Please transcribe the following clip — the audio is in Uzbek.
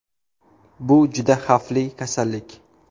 Bu juda xavfli kasallik.